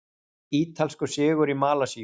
Ítalskur sigur í Malasíu